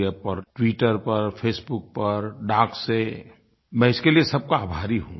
NarendraModiApp पर Twitter पर Facebook पर डाक से मैं इसके लिये सबका आभारी हूँ